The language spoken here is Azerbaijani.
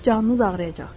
Canınız ağrıyacaq.